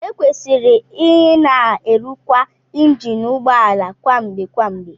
Ekwesịrị ịna erụkwa injin ụgbọ ala kwa mgbe kwa mgbe